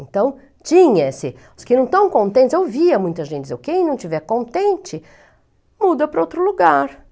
Então, tinha esse... Os que não estão contentes, eu via muita gente dizer, quem não estiver contente, muda para outro lugar.